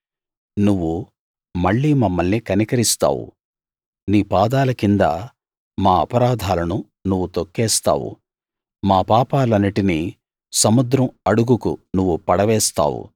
నువ్వు మళ్ళీ మమ్మల్ని కనికరిస్తావు నీ పాదాల కింద మా అపరాధాలను నువ్వు తొక్కేస్తావు మా పాపాలన్నిటినీ సముద్రం అడుగుకు నువ్వు పడవేస్తావు